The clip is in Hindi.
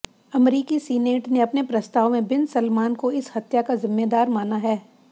अमरीकी सिनेट ने अपने प्रस्ताव में बिन सलमान को इस हत्या का ज़िम्मेदार माना है